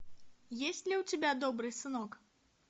есть ли у тебя добрый сынок